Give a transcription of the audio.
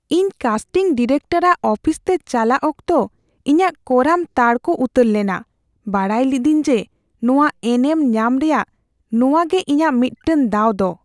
ᱤᱧ casting director ᱟᱜ office ᱛᱮ ᱪᱟᱞᱟᱜ ᱚᱠᱛᱚ ᱤᱧᱟᱜ ᱠᱚᱲᱟᱢ ᱛᱟᱨᱠᱚ ᱩᱛᱟᱹᱨ ᱞᱮᱱᱟ, ᱵᱟᱰᱟᱭ ᱞᱤᱫᱟᱹᱧ ᱡᱮ ᱱᱚᱶᱟ ᱮᱱᱮᱢ ᱧᱟᱢ ᱨᱮᱭᱟᱜ ᱱᱚᱶᱟ ᱜᱮ ᱤᱧᱟᱜ ᱢᱤᱫᱴᱟᱝ ᱫᱟᱣ ᱫᱚ ᱾